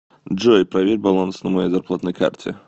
джой проверь баланс на моей зарплатной карте